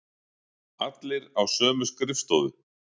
Allir á sömu skrifstofu.